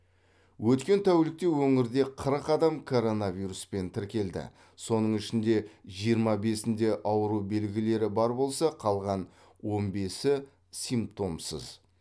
өткен тәулікте өңірде қырық адам коронавируспен тіркелді соның ішінде жиырма бесінде ауру белгілері бар болса қалған он бесі симптомсыз